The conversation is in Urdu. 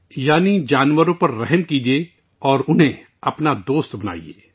یعنی مخلوق پر رحم کرو اور انھیں اپنا دوست بنا لو